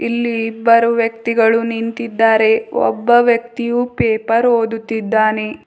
ಇಲ್ಲಿ ಇಬ್ಬರು ವ್ಯಕ್ತಿಗಳು ನಿಂತಿದ್ದಾರೆ ಒಬ್ಬ ವ್ಯಕ್ತಿಯು ಪೇಪರ್ ಓದುತ್ತಿದ್ದಾನೆ.